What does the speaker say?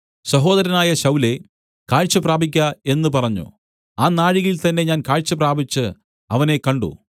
സഹോദരനായ ശൌലേ കാഴ്ച പ്രാപിക്ക എന്നു പറഞ്ഞു ആ നാഴികയിൽ തന്നേ ഞാൻ കാഴ്ച പ്രാപിച്ച് അവനെ കണ്ട്